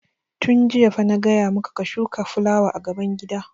Tun jiya fa na gaya ma ka ka shuka fulawa gaban gida!